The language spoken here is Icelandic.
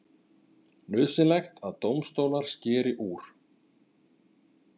Nauðsynlegt að dómstólar skeri úr